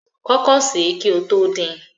Kọkọ ṣẹ kí o tó din!